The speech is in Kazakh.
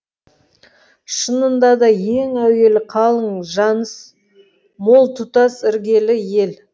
шынында да ең әуелі қалың жаныс мол тұтас іргелі ел